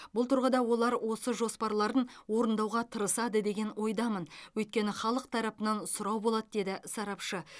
бұл тұрғыда олар осы жоспарларын орындауға тырысады деген ойдамын өйткені халық тарапынан сұрау болады деді сарапшы